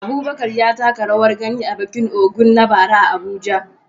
Abubakar ya taka rawar gani a bikin Ògún na bara a Abuja.